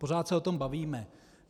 Pořád se o tom bavíme.